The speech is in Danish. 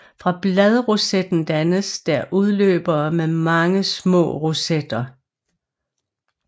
Fra bladrosetten dannes der udløbere med mange små rosetter